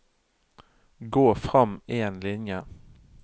Gå frem én linje